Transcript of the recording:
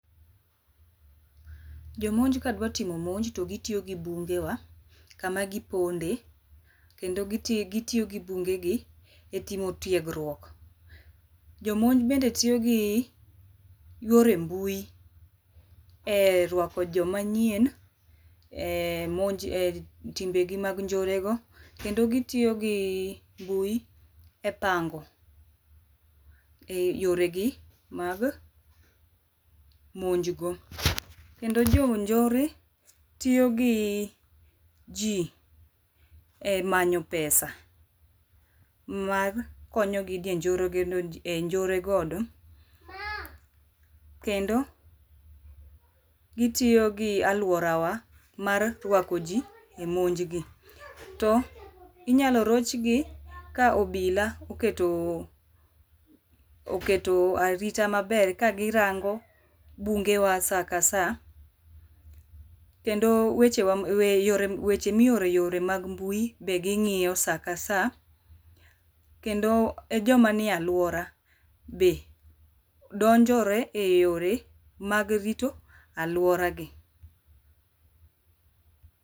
Jomonj kadwa timo monj to gitiyo gi bunge wa kama giponde kendo gitiyo gi bunge gi e timo tiegruok. Jomonj bende tiyo gi yore mbui e ruako joma nyien e monj e timbe gi mag njore go kendo gitiyo gi mbui e pango, yore gi mag monj go. Kendo jo njore tiyo gi jii e manyo pesa mar konyo gi e njore kendo gitiyo gi aluora wa mar ruako ji e monj gi, to inyalo roch gi ka obila oketo arita maber kagirango bunge wa saa ka saa kendo weche wa weche miore e yore mag mbui be ging’iyo saa ka saa kendo e joma nie aluora be donjore e yore mag rito aluora gi.